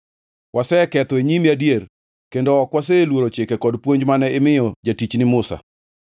waseketho e nyimi adier kendo ok waseluoro chike kod puonj mane imiyo jatichni Musa.